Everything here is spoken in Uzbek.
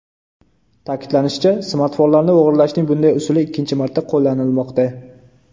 Ta’kidlanishicha, smartfonlarni o‘g‘irlashning bunday usuli ikkinchi marta qo‘llanilmoqda.